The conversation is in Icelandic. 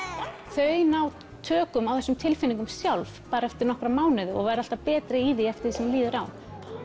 þau ná tökum á þessum tilfinningum sjálf bara eftir nokkra mánuði og verða alltaf betri í því eftir því sem líður á